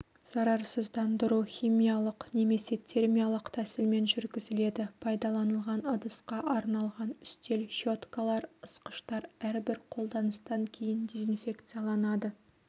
зарарсыздандыру химиялық немесе термиялық тәсілмен жүргізіледі пайдаланылған ыдысқа арналған үстел щеткалар ысқыштар әрбір қолданыстан кейін дезинфекцияланады